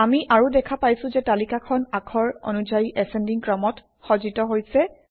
আমি আৰু দেখা পাইছোঁ যে তালিকাখন আখৰ অনুযায়ী এচেণ্ডিং ক্ৰমত সজ্জিত হৈছে